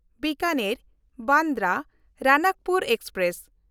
Bikaner Bandra Ranakpur express